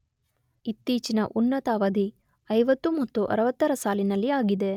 ಇತ್ತೀಚಿನ ಉನ್ನತ ಅವಧಿ 50 ಮತ್ತು 60 ರ ಸಾಲಿನಲ್ಲಿ ಆಗಿದೆ.